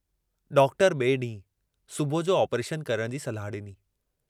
Doctor बिए डींहुं सुबुह जो आपरेशन करण जी सलाह डिनी।